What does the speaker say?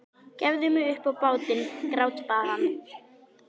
Gefðu mig upp á bátinn, grátbað hann.